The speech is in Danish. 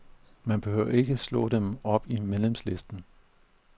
Man behøver ikke slå dem op i medlemslisten.